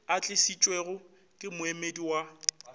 a tlišitšwego ke moemedi wa